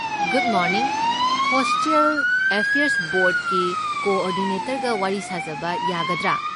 Good morning, hostel affairs ꯕꯣꯔꯗꯀꯤ ꯀꯣ ꯑꯣꯔꯗꯤꯅꯦꯇꯔꯒ ꯋꯥꯔꯤ ꯁꯥꯖꯕ ꯌꯥꯒꯗ꯭ꯔꯥ?